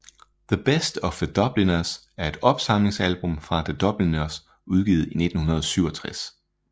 The Best of The Dubliners er et opsamlingsalbum fra The Dubliners udgivet i 1967